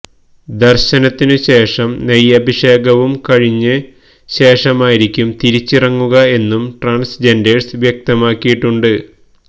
ദര്ശനത്തിനു ശേഷം നെയ്യഭിഷേകവും കഴിഞ്ഞ ശേഷമായിരിക്കും തിരിച്ചിറങ്ങുക എന്നും ട്രാന്സ്ജെന്ഡേഴ്സ് വ്യക്തമാക്കിയിട്ടുണ്ട്